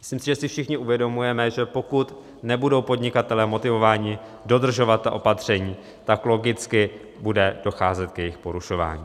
Myslím si, že si všichni uvědomujeme, že pokud nebudou podnikatelé motivováni dodržovat ta opatření, tak logicky bude docházet k jejich porušování.